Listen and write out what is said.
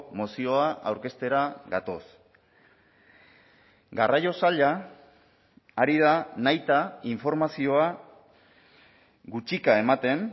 mozioa aurkeztera gatoz garraio saila ari da nahita informazioa gutxika ematen